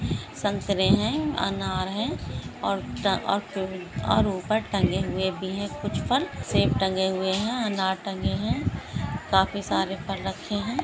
संतरे हैं अनार हैं और अ और ऊपर टंगे हुए भी हैं कुछ फल सेब टंगे हुए हैं अनार टंगे हैं काफी सारे फल रखे है।